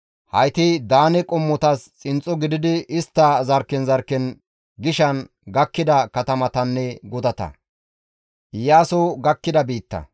Hayti Daane qommotas xinxxo gididi istta zarkken zarkken gishan gakkida katamatanne gutata.